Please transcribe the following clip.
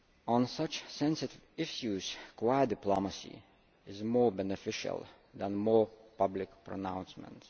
On such sensitive issues quiet diplomacy is more beneficial than more public pronouncements.